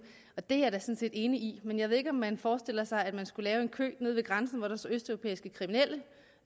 det er sådan set enig i men jeg ved ikke om man forestiller sig at man skulle lave en kø nede ved grænsen hvor der stod østeuropæiske kriminelle og